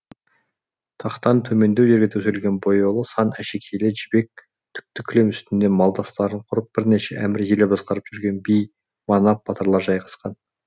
тақтан төмендеу жерге төселген бояулы сан әшекейлі жібек түкті кілем үстінде малдастарын құрып бірнеше әмір елі басқарып жүрген би манап батырлар жайғасқан